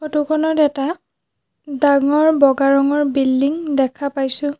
ফটোখনত এটা ডাঙৰ বগা ৰঙৰ বিল্ডিং দেখা পাইছোঁ।